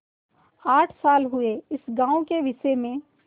आठ साल हुए इस गॉँव के विषय में